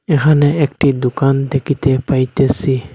এখানে একটি দুকান দেখিতে পাইতেসি।